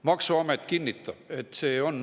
Maksuamet kinnitab, et nii see on.